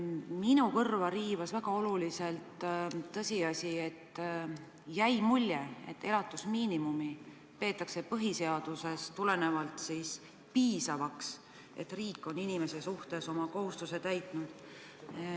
Minu kõrva riivas väga teravalt see, et jäi mulje, nagu peetaks elatusmiinimumi tagamist põhiseadusest tulenevalt piisavaks, et öelda, et riik on inimese suhtes oma kohustuse täitnud.